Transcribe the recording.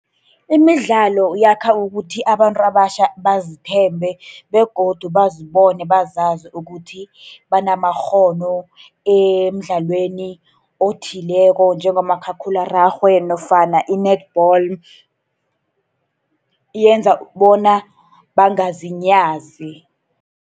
Imidlalo yakha ukuthi abantu abatjha bazithembe, begodu bazibone bazazi ukuthi banamakghono emidlalweni othileko njengomakhakhulararhwe nofana i-netball. Yenza bona bangazinyazi.